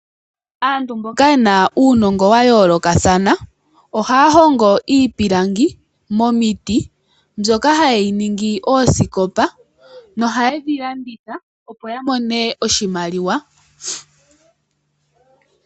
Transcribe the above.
Aantu mboka yena uunongo wa yooloka thana, ohaya hongo iipilangi mo miti mbyoka ha yeyi ningi oosikopa, no haye dhi landitha opo ya mone oshimaliwa.